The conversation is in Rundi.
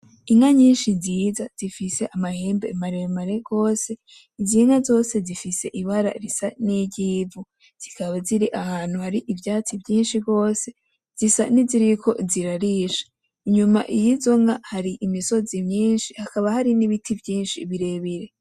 Inka nyinshi nziza zifise amahembe maremare gwose iz'inka zose zifise ibara risa niry'ivu zikaba ziri ahantu hari ivyatsi vyinshi gwose zisa niziriko zirarisha. Inyuma y'izo nka hari imisozi myinshi hakaba hari n'ibiti vyinshi birebire.